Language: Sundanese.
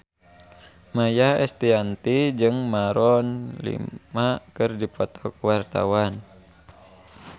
Maia Estianty jeung Maroon 5 keur dipoto ku wartawan